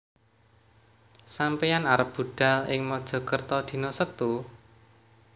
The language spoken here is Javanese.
Sampeyan arep budhal ing Mojokerto dino Setu?